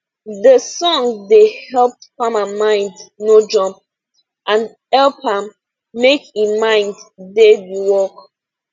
de song da help farma mind no jump and hep am make e mind da d work